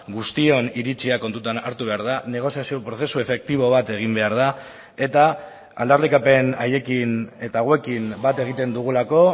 guztion iritzia kontutan hartu behar da negoziazio prozesu efektibo bat egin behar da eta aldarrikapen haiekin eta hauekin bat egiten dugulako